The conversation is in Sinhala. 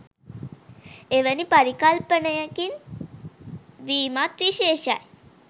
එවැනි පරිකල්පනයකින් වීමත් විශේෂයි.